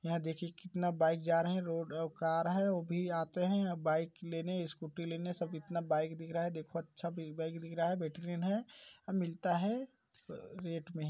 यहाँ देखिए कितना बाइक जा रहा है रोड औ कार है ओ भी आते हैं बाइक लेने स्कूटी लेने सब इतना बाइक दिख रहा है देखो अच्छा बाइक दिख रहा है बेहतरीन हैं मिलता है। रेट मे।